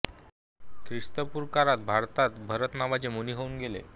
ख्रिस्तपूर्व काळात भारतात भरत नावाचे मुनी होऊन गेले